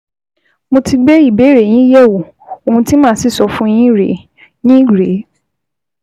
Mo ti gbé ìbéèrè yín yẹ̀wò, ohun tí màá sì sọ fún yín rèé yín rèé